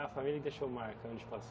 A Família que deixou marca, onde passou.